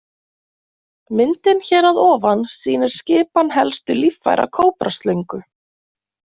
Myndin hér að ofan sýnir skipan helstu líffæra kóbraslöngu.